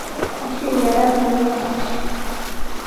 ashu iarat naikash.